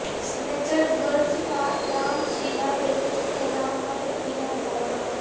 signature bridge کا نام شیلا دیکشت کے نام پر رکھنے کا مطالبہ